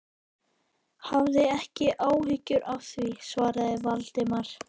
Hafðu ekki áhyggjur af því- svaraði Valdimar.